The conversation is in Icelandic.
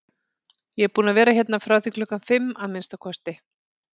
Ég er búinn að vera hérna frá því klukkan fimm, að minnsta kosti